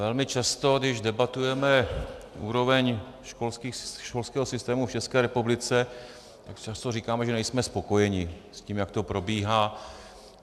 Velmi často, když debatujeme úroveň školského systému v České republice, tak často říkáme, že nejsme spokojeni s tím, jak to probíhá.